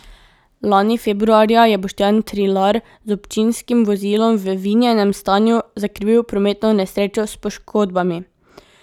Lani februarja je Boštjan Trilar z občinskim vozilom v vinjenem stanju zakrivil prometno nesrečo s poškodbami.